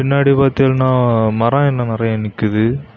பின்னாடி பாத்தீன்னா மரம் இன்னும் நிறைய நிக்குது.